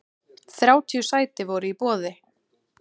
Þrjátíu sæti voru í boði.